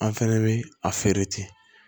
An fɛnɛ bɛ a feere ten